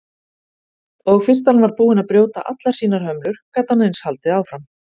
Og fyrst hann var búinn að brjóta allar sínar hömlur gat hann eins haldið áfram.